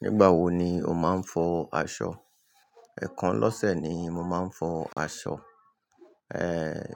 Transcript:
Nígbà wo ni o máa ń fọ aṣọ? Ẹ̀kan lọ́sẹ̀ ni mo máa ń fọ aṣọ. Ee,